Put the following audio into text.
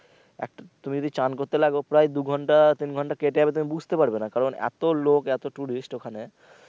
একটা তুমি স্নান করতে লাগো প্রায় দু ঘন্টা তিন ঘন্টা কেটে যাবে তুমি বুঝতে পারবে না কারণ এতো লোক এতো tourist ওখানে।